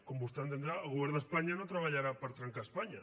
com vostè entendrà el govern d’espanya no treballarà per trencar espanya